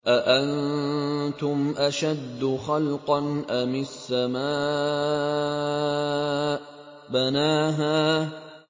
أَأَنتُمْ أَشَدُّ خَلْقًا أَمِ السَّمَاءُ ۚ بَنَاهَا